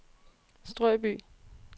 Strøby